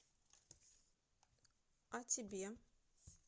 о тебе